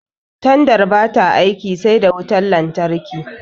Tandar bata aiki sai da wutan lantarki